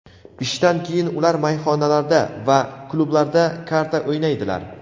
ishdan keyin ular mayxonalarda va klublarda karta o‘ynaydilar.